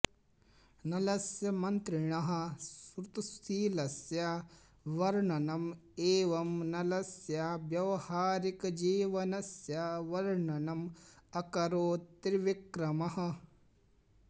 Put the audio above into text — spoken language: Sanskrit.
नलस्य मन्त्रिणः श्रुतशीलस्य वर्णनम् एवं नलस्य व्यावहारिकजीवनस्य वर्णनम् अकरोत् त्रिविक्रमः